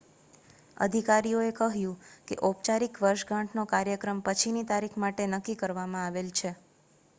અધિકારીઓએ કહ્યું કે ઔપચારિક વર્ષગાંઠનો કાર્યક્રમ પછીની તારીખ માટે નક્કી કરવામાં આવેલ છે